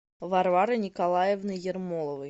варварой николаевной ермоловой